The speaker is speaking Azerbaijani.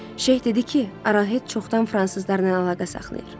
Şeyx dedi ki, Arohed çoxdan fransızlarla əlaqə saxlayır.